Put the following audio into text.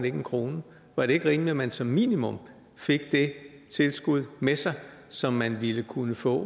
en krone var det ikke rimeligt at man som minimum fik det tilskud med sig som man ville kunne få